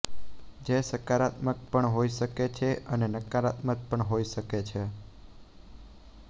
જે સકારાત્મક પણ હોઈ શકે છે અને નકારાત્મક પણ હોઈ શકે છે